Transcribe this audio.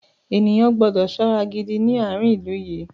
Ènìyàn gbọ́dọ̀ ṣọ́ra gidi ní àárín ilú yìí.